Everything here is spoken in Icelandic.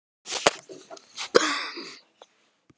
Ertu trúuð?